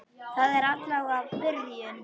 Það er allavega byrjun!